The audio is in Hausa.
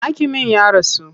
Hakimin ya rasu.